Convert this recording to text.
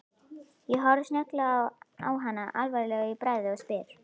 Ég horfi snögglega á hana alvarlegur í bragði og spyr